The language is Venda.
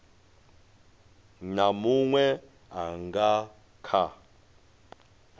na munwe a nga kha